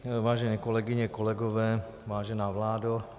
Vážené kolegyně, kolegové, vážená vládo.